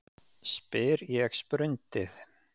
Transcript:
spyr ég sprundið.